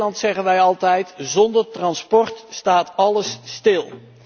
In Nederland zeggen wij altijd zonder transport staat alles stil.